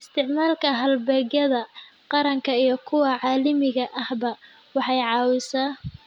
Isticmaalka halbeegyada qaranka iyo kuwa caalamiga ahba way caawisaa.